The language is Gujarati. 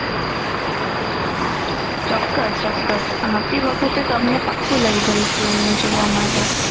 ચોક્કસ ચોક્કસ આવતી વખત અ તમને પક્કુ લઈ જઇસુ અમે જોવા માટે